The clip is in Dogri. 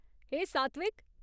हे सात्विक !